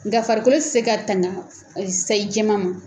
Nkafarikolo tɛ se ka tanga sayi jɛman ma.